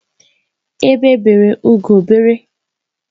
Egwe bere ugo bere.